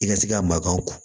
I ka se ka makan ko